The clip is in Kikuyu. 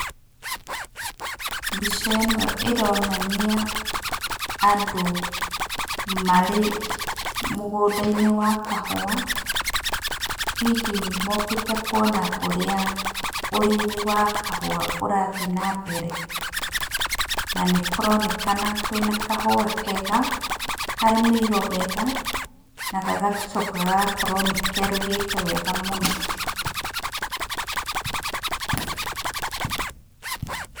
Mbica ĩno ĩronania andũ marĩ mũgũnda-inĩ wa kahũwa, hihi mokĩte kuona ũrĩa ũrĩmi wa kahũwa ũrathi na mbere, na nĩ kũronekana kwĩna kahũwa kega, karĩmĩirwo wega, na gagacoka gagakorwo nĩ keruhĩte wega mũno.